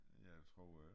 Ja det tror jeg det er